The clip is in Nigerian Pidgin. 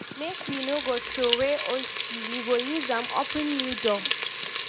Make we no go throway old key, we go use am open new door.